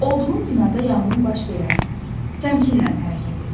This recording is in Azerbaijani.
Olduğun binada yanğın baş verərsə, təmkinlə hərəkət et.